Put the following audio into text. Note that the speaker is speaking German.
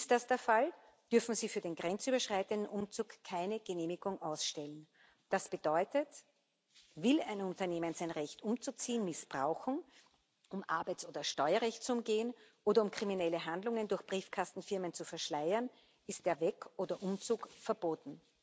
Ist das der Fall, dürfen sie für den grenzüberschreitenden Umzug keine Genehmigung ausstellen. Das bedeutet Will ein Unternehmen, sein Recht umzuziehen, missbrauchen, um Arbeits oder Steuerrecht zu umgehen oder um kriminelle Handlungen durch Briefkastenfirmen zu verschleiern, ist der Weg oder Umzug verboten.